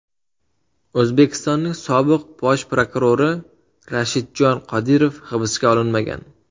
O‘zbekistonning sobiq Bosh prokurori Rashidjon Qodirov hibsga olinmagan.